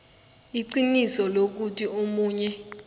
iqiniso lokuthi omunye